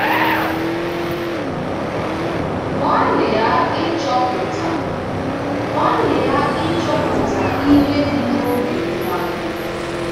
Gbalịa ịchọpụta Gbalịa ịchọpụta ihe dị n'obi nwa gị